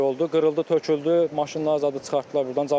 Külək oldu, qırıldı, töküldü, maşınlar zadı çıxartdılar burdan.